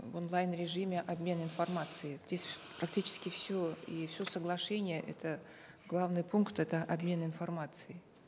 в онлайн режиме обмен информацией здесь практически все и все соглашение это главный пункт это обмен информацией